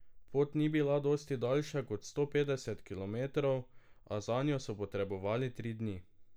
Pot ni bila dosti daljša kot sto petdeset kilometrov, a zanjo so potrebovali tri dni.